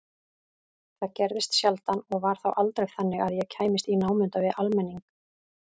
Það gerðist sjaldan og var þá aldrei þannig að ég kæmist í námunda við almenning.